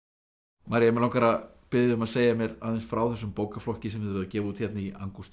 María mig langar að biðja þig um að segja mér aðeins frá þessum bókaflokki sem þið eruð að gefa út hérna í